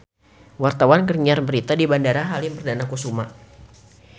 Wartawan keur nyiar berita di Bandara Halim Perdana Kusuma